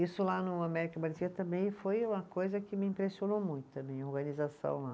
Isso lá no também foi uma coisa que me impressionou muito, também, a organização lá.